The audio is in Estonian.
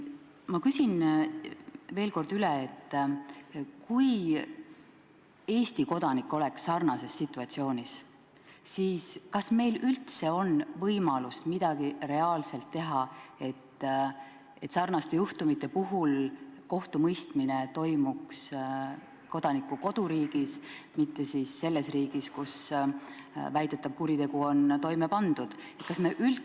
Ma küsin veel kord üle: kui Eesti kodanik oleks sarnases situatsioonis, kas meil üldse oleks võimalik midagi reaalselt teha, et kohtumõistmine toimuks kodaniku koduriigis, mitte selles riigis, kus väidetav kuritegu on toime pandud?